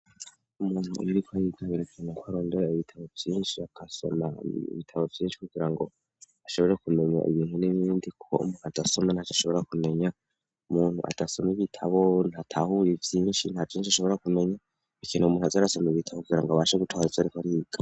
Umuntu yiriko ayitabire kana ko arondera ibitabo byinshi aksom ibitabo byinshi kugira ngo ashobore kumenya ibintu n'inindi ko muntu atasoma ntacyo ashobora kumenya umuntu atasoma ibitabo ntatahuye byinshi nta byinshi ashobora kumenya bikene umuntu azearaasoma ibitabo kugira ngo abasha gucwaritso ariko ariga.